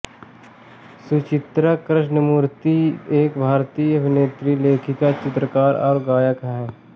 सुचित्रा कृष्णमूर्ति एक भारतीय अभिनेत्री लेखिका चित्रकार और गायक हैं